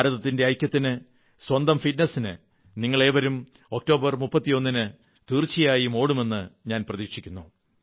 ഭാരതത്തിന്റെ ഐക്യത്തിന് സ്വന്തം ഫിറ്റ്നസിന് നിങ്ങളേവരും ഒക്ടോബർ 31 ന് തീർച്ചയായും ഓടുമെന്ന് ഞാൻ പ്രതീക്ഷിക്കുന്നു